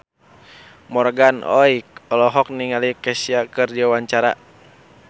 Morgan Oey olohok ningali Kesha keur diwawancara